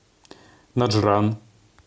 наджран